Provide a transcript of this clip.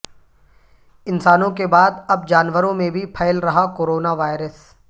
انسانوں کے بعد اب جانوروں میں بھی پھیل رہا کورونا وائرس